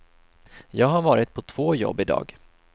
Jag har varit på två jobb i dag.